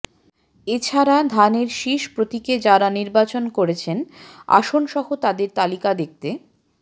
এছাড়া ধানের শীষ প্রতীকে যারা নির্বাচন করছেন আসনসহ তাদের তালিকা দেখতে